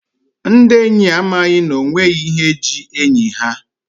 Ndi enyi a amaghị n'onweghi ihe ji enyi ha.